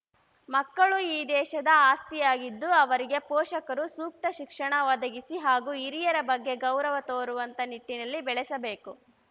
ಮಕ್ಕಳು ಈ ದೇಶದ ಆಸ್ತಿಯಾಗಿದ್ದು ಅವರಿಗೆ ಪೋಷಕರು ಸೂಕ್ತ ಶಿಕ್ಷಣ ಒದಗಿಸಿ ಹಾಗೂ ಹಿರಿಯರ ಬಗ್ಗೆ ಗೌರವ ತೋರುವಂತ ನಿಟ್ಟಿನಲ್ಲಿ ಬೆಳೆಸಬೇಕು